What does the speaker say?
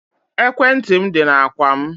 Ekwentị m dị na ákwà m